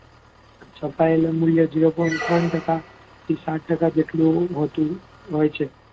છપાયેલી નોટોને zero point ત્રણ ટકા થી સાત ટકા જેટલું હોતું હોય છે.